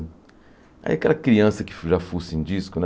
Aí aquela criança que já fuça em disco, né?